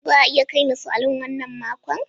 Za a iya kai ni salon wannan makon?